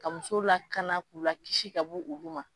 Ka muso la kaana k'ula kisi ka bɔ olu ma.